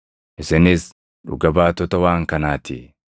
Isinis dhuga baatota waan kanaa ti.